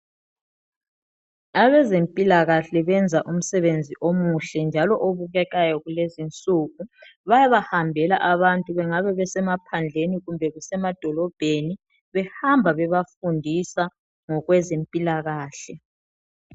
Abezempilakahle benza umsebenzi omuhle njalo obukekayo kulezi insuku. Bayaba hambela abantu. Bengabe besemaphandleni kumbe besemadolobheni. Behamba bebafundisa ngokwezempilakahle.